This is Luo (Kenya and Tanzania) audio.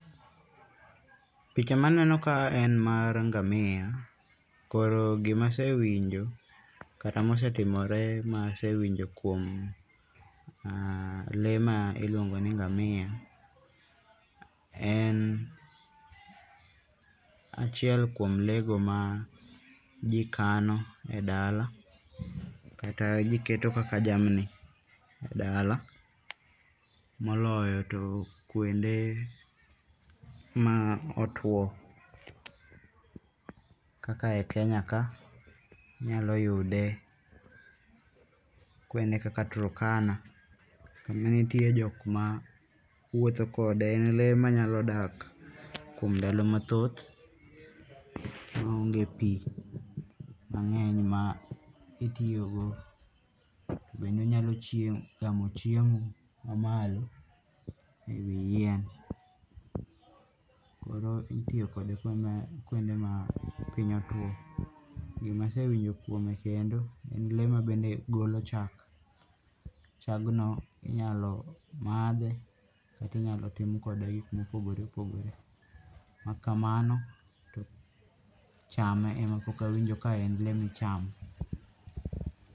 Pich ma aneno ka en mar ngamia. Koro gima asewinjo kata ma osetimore ma asewinjo kuom le ma iluongo ni ngamia, en achiel kuom le go ma gikano e dala kata giketo kaka jamni e dala. Moloyo to kwonde ma otuo kaka e Kenya ka inyalo yude kwonde kaka Turkana kama nitie jok ma wuotho kode. En le manyalo dak kuom ndalo mathoth koonge pi mangeny ma itiyo go. Bende onyalo chiemo gamo chiemo ma malo e wi yien. Koro itiyo kode kwonde ma piny otwo. Gima asewinjo kuome kendo en le ma bende golo chak. Chagno inyalo madhe kata inyalo tim kode gik mopogore opogore. Kok kamano, to chame ema pok awinjo ka en le michamo.